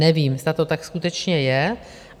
Nevím, zda to tak skutečně je.